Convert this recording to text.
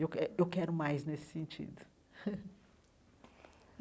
Eu que eu quero mais nesse sentido.